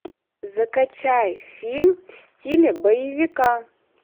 закачай фильм в стиле боевика